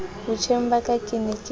botjheng ba ka ke ne